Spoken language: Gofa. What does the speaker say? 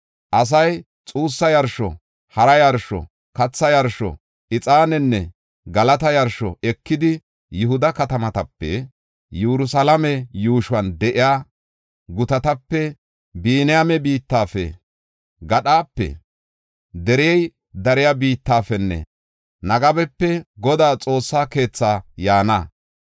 Asay xuussa yarsho, hara yarsho, katha yarsho, ixaanenne galata yarsho ekidi, Yihuda katamatape, Yerusalaame yuushuwan de7iya gutatape, Biniyaame biittafe, gadhape, derey dariya biittafenne, Negebape Godaa Xoossa keethaa yaana.